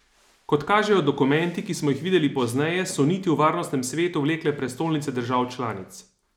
Kot kažejo dokumenti, ki smo jih videli pozneje, so niti v Varnostnem svetu vlekle prestolnice držav članic.